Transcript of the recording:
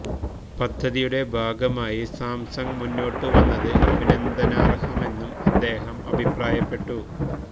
പദ്ധതിയുടെ ഭാഗമായി സാംസങ് മുന്നോട്ട് വന്നത് അഭിനന്ദനാർഹമെന്നും അദ്ദേഹം അഭിപ്രായപ്പെട്ടു